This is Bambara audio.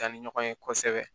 Danni ɲɔgɔn ye kosɛbɛ